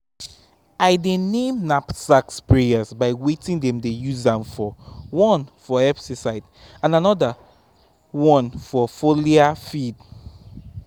i dey name knapsack sprayers by wetin dem dey use am for: one for herbicide and another one for foliar feed um